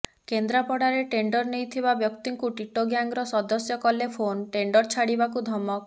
କେନ୍ଦ୍ରାପଡାରେ ଟେଣ୍ଡର ନେଇଥିବା ବ୍ୟକ୍ତିଙ୍କୁୁ ଟିଟୋ ଗ୍ୟାଙ୍ଗର ସଦସ୍ୟ କଲେ ଫୋନ୍ ଟେଣ୍ଡର ଛାଡିବାକୁ ଧମକ